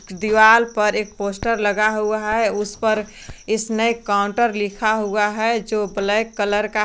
दीवाल पर एक पोस्टर लगा हुआ है उस पर इसमें काउंटर लिखा हुआ है जो ब्लैक कलर का है।